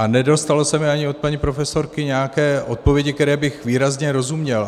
A nedostalo se mi ani od paní profesorky nějaké odpovědi, které bych výrazně rozuměl.